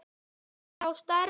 sjá stærri mynd.